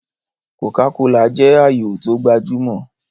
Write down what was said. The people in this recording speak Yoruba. Kòká kolà jẹ́ ààyò tó gbajúmọ̀